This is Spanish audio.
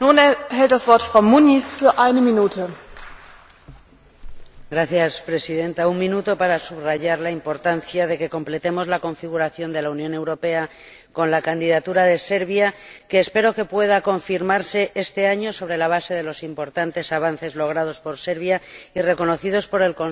Señora Presidenta, un minuto para subrayar la importancia de que completemos la configuración de la Unión Europea con la candidatura de Serbia, que espero pueda confirmarse este año sobre la base de los importantes avances logrados por Serbia, reconocidos por el Consejo al decidir